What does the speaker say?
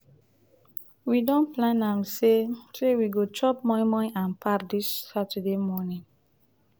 we don plan am sey sey we go chop moi-moi and pap dis saturday morning.